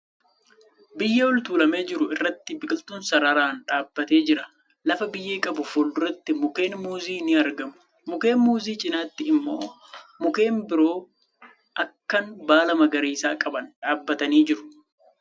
Biyyee ol tuulamee jiru irratti biqiltuun sararaan dhaabbatee jira. Lafa biyyee qabuu fuulduratti mukkeen muuzii ni argamu. Mukkeen muuzii cinaatti immoo mukkeen biroo akkan baala magariisaa qaban dhaabbatanii jiruu .